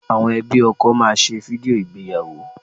Àwọn ẹbí ọkọ máa ṣe fídíò ìgbéyàwó